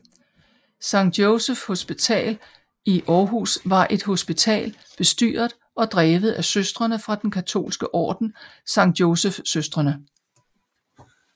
Sankt Joseph Hospital i Aarhus var et hospital bestyret og drevet af Søstrene fra den katolske orden Sankt Joseph Søstrene